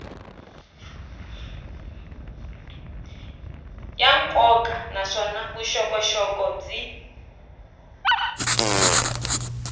ya nkoka naswona vuxokoxoko byi